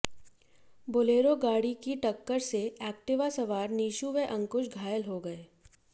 Bolero गाड़ी की टक्कर से एक्टिवा सवार नीशू व अंकुश घायल हो गये